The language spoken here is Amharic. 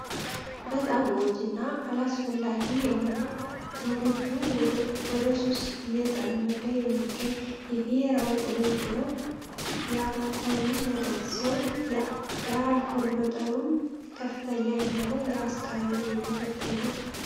በጣም ጎጂ እና አላስፈላጊ የሆነ ትውልዱ ወደሱስ እየጠመደ የሚገኝ የብሔራዊ ኦዞ ያልኮል መጠጥ ሲሆን የአልኮል መጠኑም ከፍተኛ የሆነ የአስካሪ የመጠጥ አይነት ነው።